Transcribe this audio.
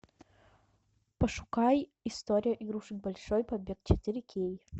пошукай история игрушек большой побег четыре кей